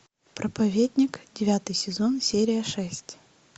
проповедник девятый сезон серия шесть